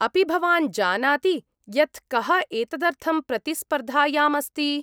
अपि भवान् जानाति यत् कः एतदर्थं प्रतिस्पर्धायाम् अस्ति ?